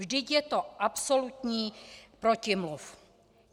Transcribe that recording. Vždyť je to absolutní protimluv.